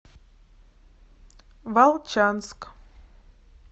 волчанск